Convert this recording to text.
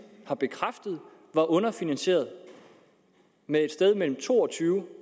har bekræftet var underfinansieret med et sted mellem to og tyve